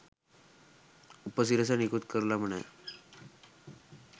උපසිරසි නිකුත් කරලම නෑ.